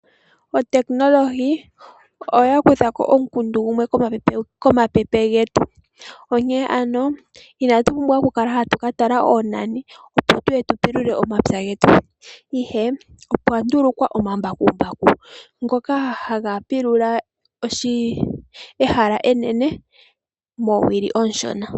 Oteknolohi oya kuthako omukundu gumwe komapepe getu. Onkee ano inatu pumbwa oku kala hatu ka tala oonani opo tuye tu pulule omapya getu, ihe opwa ndulukwa omambakumbaku ngoka ha ga pulula ehala enene moowili oonshona.